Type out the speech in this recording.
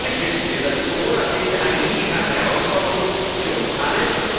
Natürlich wissen wir, dass die Corona Krise eine nie gekannte Herausforderung ist für uns alle.